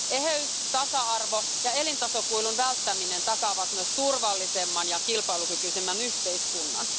Eheys, tasa arvo ja elintasokuilun välttäminen takaavat myös turvallisemman ja kilpailukykyisemmän yhteiskunnan.